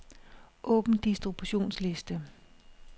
Åbn distributionsliste.